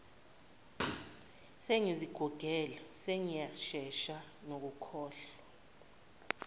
sengizigugele sengiyashesha nokukhohlwa